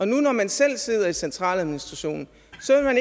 nu når man selv sidder i centraladministrationen